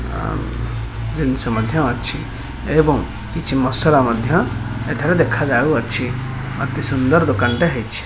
ଆମ୍ ଜିନିଷ ମଧ୍ୟ ଅଛି ଏବଂ କିଛି ମସଲା ମଧ୍ୟ ଏଠାରେ ଦେଖା ଯାଉଅଛି ଅତି ସୁନ୍ଦର ଦୋକାନ ଟେ ହେଇଛି।